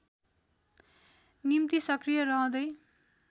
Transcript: निम्ति सक्रिय रहँदै